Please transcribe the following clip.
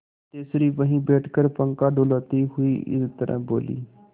सिद्धेश्वरी वहीं बैठकर पंखा डुलाती हुई इस तरह बोली